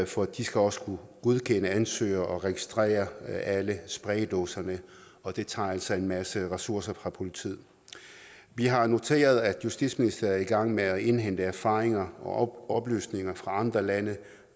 for de skal også kunne godkende ansøgere og registrere alle spraydåserne og det tager altså en masse ressourcer fra politiet vi har noteret at justitsministeriet er i gang med at indhente erfaringer og oplysninger fra andre lande